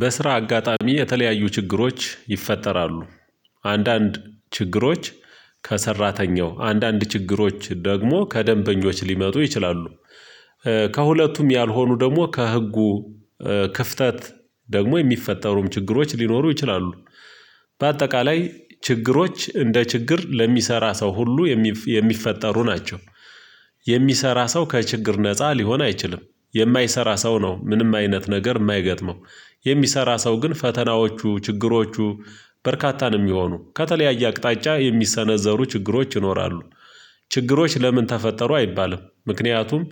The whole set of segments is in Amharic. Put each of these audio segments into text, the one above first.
በስራ አጋጣሚ የተለያዩ ችግሮች ይፈጠራሉ። አንዳንድ ችግሮች ከሰራተኛው፣ አንዳንድ ችግሮች ደግሞ ከደንበኞች ሊመጡ ይችላሉ። ከሁለቱም ያልሆኑ ደግሞ ከህጉ ክፍተት ደግሞ የሚፈጠሩም ችግሮች ሊኖሩ ይችላሉ። በአጠቃላይ ችግሮች እንደ ችግር ለሚሰራ ሰው ሁሉ የሚፍ የሚፈጠሩ ናቸው። የሚሰራ ሰው ከችግር ነፃ ሊሆን አይችልም። የማይሰራ ሰው ነው ምንም አይነት ነገር የማይገጥመው። የሚሰራ ሰው ግን ፈተናዎቹ ችግሮቹ በርካታ ነው የሚሆኑ። ከተለያየ አቅጣጫ የሚሰነዘሩ ችግሮች ይኖራሉ። ችግሮች ለምን ተፈጠሩ አይባልም። ምክንያቱም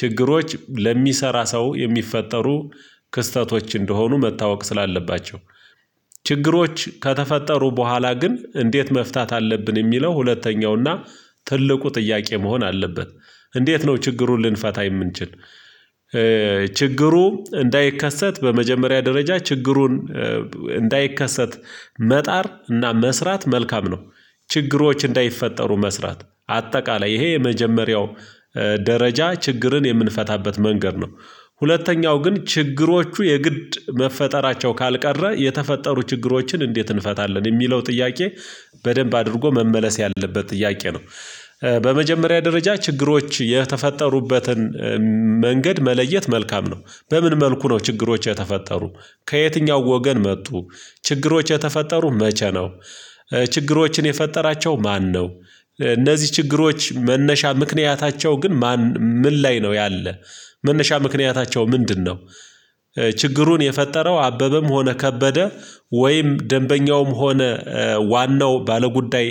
ችግሮች ለሚሰራ ሰው የሚፈጠሩ ክስተቶች እንደሆኑ መታወቅ ስላለባቸው። ችግሮች ከተፈጠሩ በኋላ ግን እንዴት መፍታት አለብን የሚለው ሁለተኛው እና ትልቁ ጥያቄ መሆን አለበት። እንዴት ነው ችግሩን ልንፈታ የምንችል? ችግሩ እንዳይከሰት በመጀመሪያ ደረጃ ችግሩን እንዳይከሰት መጣር እና መስራት መልካም ነው። ችግሮች እንዳይፈጠሩ መስራት አጠቃላይ ይሄ የመጀመሪያው ደረጃ ችግርን የምንፈታበት መንገድ ነው። ሁለተኛው ግን ችግሮቹ የግድ መፈጠራቸው ካልቀረ የተፈጠሩ ችግሮችን እንዴት እንፈታለን? የሚለው ጥያቄ በደንብ አድርጎ መመለስ ያለበት ጥያቄ ነው። በመጀመሪያ ደረጃ ችግሮች የተፈጠሩበትን መንገድ መለየት መልካም ነው። በምን መልኩ ነው ችግሮች የተፈጠሩ? ከየትኛው ወገን መጡ? ችግሮች የተፈጠሩ መቼ ነው? ችግሮችን የፈጠራቸው ማነው? እነዚህ ችግሮች መነሻ ምክንያታቸው ግን ማን ምን ላይ ነው ያለ? መነሻ ምክንያታቸው ምንድነው? ችግሩን የፈጠረው አበበም ሆነ ከበደ ወይም ደንበኛውም ሆነ ዋናው ባለጉዳይ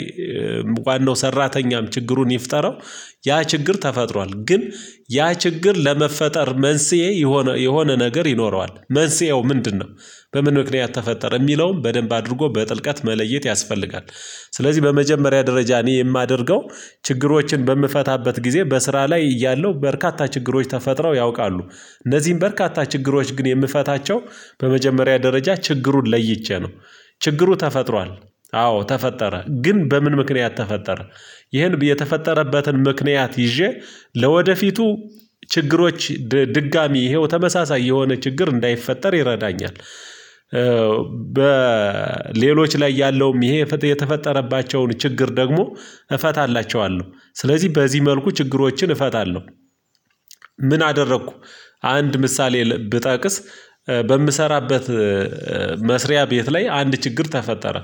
ዋናው ሰራተኛም ችግሩን ይፍጠረው ያ ችግር ተፈጥሯል፤ ግን ያ ችግር ለመፈጠር መንስኤ የሆነ የሆነ ነገር ይኖረዋል። መንስኤው ምንድነው? በምን ምክንያት ተፈጠረ? የሚለውን በደንብ አድርጎ በጥልቀት መለየት ያስፈልጋል። ስለዚህ በመጀመሪያ ደረጃ እኔ የማደርገው ችግሮችን በምፈታበት ጊዜ በስራ ላይ እያለሁ በርካታ ችግሮች ተፈጥረው ያውቃሉ። እነዚህን በርካታ ችግሮች ግን የምፈታቸው በመጀመሪያ ደረጃ ችግሩን ለይቼ ነው። ችግሩ ተፈጥሯል አዎ ተፈጠረ ግን በምን ምክንያት ተፈጠረ? ይሄን የተፈጠረበትን ምክንያት ይዤ ለወደፊቱ ችግሮች ድጋሚ ይሄው ተመሳሳይ የሆነ ችግር እንዳይፈጠር ይረዳኛል። በሌሎች ላይ ያለውም ይሄ የተፈጠረባቸውን ችግር ደግሞ እፈታላቸዋለሁ። ስለዚህ በዚህ መልኩ ችግሮችን እፈታለሁ። ምን አደረኩ አንድ ምሳሌ ብጠቅስ በምሰራበት መስሪያ ቤት ላይ አንድ ችግር ተፈጠረ።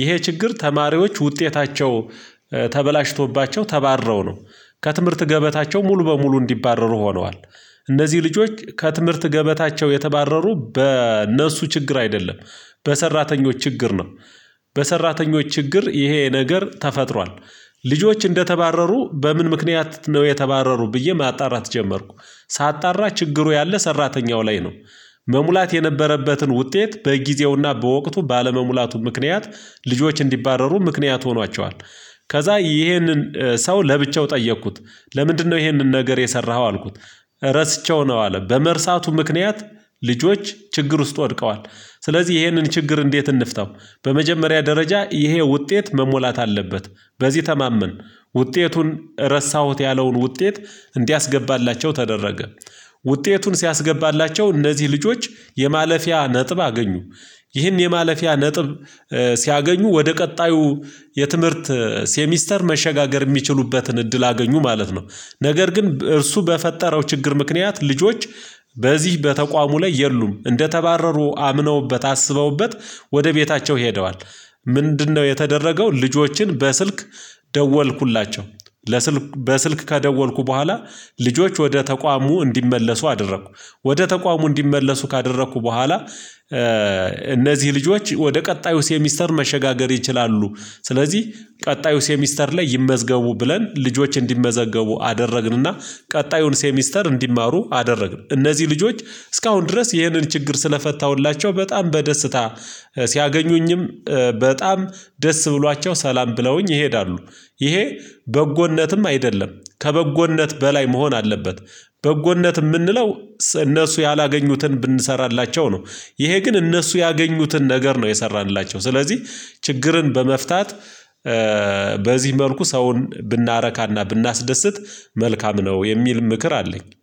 ይሄ ችግር ተማሪዎች ውጤታቸው ተበላሽቶባቸው ተባረው ነው። ከትምህርት ገበታቸው ሙሉ በሙሉ እንዲባረሩ ሆነዋል። እነዚህ ልጆች ከትምህርት ገበታቸው የተባረሩ በእነሱ ችግር አይደለም በሰራተኞች ችግር ነው። በሰራተኞች ችግር ይሄ ነገር ተፈጥሯል። ልጆች እንደተባረሩ በምን ምክንያት ነው የተባረሩ ብዬ ማጣራት ጀመርኩ። ሳጣራ ችግሩ ያለ ሰራተኛው ላይ ነው። መሙላት የነበረበትን ውጤት በጊዜውና በወቅቱ ባለመሙላቱ ምክንያት ልጆች እንዲባረሩ ምክንያት ሆኗቸዋል። ከዛ ይሄንን ሰው ለብቻው ጠየኩት። "ለምንድነው ይሄንን ነገር የሰራኸው?" አልኩት። ረስቼው ነው አለ በመርሳቱ ምክንያት ልጆች ችግር ውስጥ ወድቀዋል። ስለዚህ ይሄንን ችግር እንዴት እንፍታው? በመጀመሪያ ደረጃ ይሄ ውጤት መሞላት አለበት። በዚህ ተማመን ውጤቱን ረሳሁት ያለውን ውጤት እንዲያስገባላቸው ተደረገ። ውጤቱን ሲያስገባላቸው እነዚህ ልጆች የማለፊያ ነጥብ አገኙ። ይህን የማለፊያ ነጥብ ሲያገኙ ወደ ቀጣዩ የትምህርት ሴሚስተር መሸጋገር የሚችሉበትን እድል አገኙ ማለት ነው፤ ነገር ግን እርሱ በፈጠረው ችግር ምክንያት ልጆች በዚህ በተቋሙ ላይ የሉም እንደተባረሩ አምነውበት አስበውበት ወደ ቤታቸው ሄደዋል። ምንድነው የተደረገው ልጆችን በስልክ ደወልኩላቸው። ለስልክ በስልክ ከደወልኩ በኋላ ልጆች ወደ ተቋሙ እንዲመለሱ አደረኩ። ወደ ተቋሙ እንዲመለሱ ካደረኩ በኋላ እነዚህ ልጆች ወደ ቀጣዩ ሴሚስተር መሸጋገር ይችላሉ። ስለዚህ ቀጣዩ ሴሚስተር ላይ ይመዝገቡ ብለን ልጆች እንዲመዘገቡ አደረግንና ቀጣዩን ሴሚስተር እንዲማሩ አደረግን። እነዚህ ልጆች እስካሁን ድረስ ይህንን ችግር ስለፈታሁላቸው በጣም በደስታ ሲያገኙኝም በጣም ደስ ብሏቸው ሰላም ብለውኝ ይሄዳሉ። ይሄ በጎነትም አይደለም ከበጎነት በላይ መሆን አለበት። በጎነት የምንለው እነሱ ያላገኙትን ብንሰራላቸው ነው። ይሄ ግን እነሱ ያገኙትን ነገር ነው የሰራንላቸው። ስለዚህ ችግርን በመፍታት በዚህ መልኩ ሰውን ብናረካና ብናስደስት መልካም ነው የሚል ምክር አለኝ።